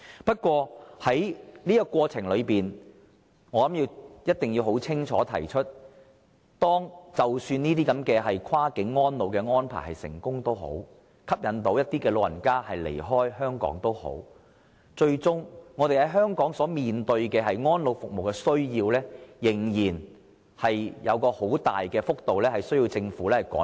不過，在這過程中，我一定要清楚指出，即使這些跨境安老安排能成功推行，可以吸引一些長者離開香港，但香港最終面對的安老服務需要，仍有很大幅度的落差需要政府追趕。